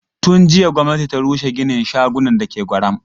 Tun jiya gwamnati ta rushe ginin shagunan da ke Gwaram.